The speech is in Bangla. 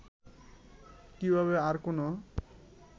কিভাবে আর কেনো